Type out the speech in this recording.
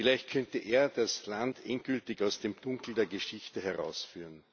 Vielleicht könnte er das Land endgültig aus dem Dunkel der Geschichte herausführen.